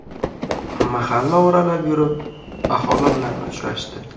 Mahalla oralab yurib, aholi bilan uchrashdi.